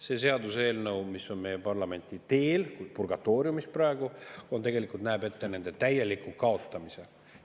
See seaduseelnõu, mis on meie parlamenti teel, purgatooriumis praegu, tegelikult näeb ette nende täieliku kaotamise.